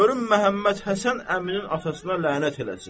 Görüm Məhəmməd Həsən əminin atasına lənət eləsin.